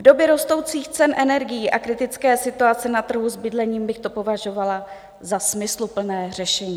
V době rostoucích cen energií a kritické situace na trhu s bydlením bych to považovala za smysluplné řešení.